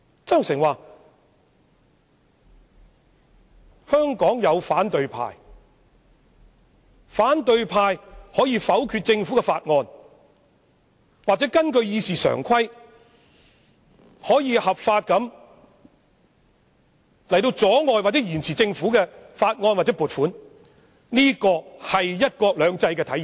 曾鈺成指出，香港有反對派，反對派可否決政府的法案或根據《議事規則》，合法地阻礙或延遲政府提出的法案或撥款申請，而這正是"一國兩制"的體現。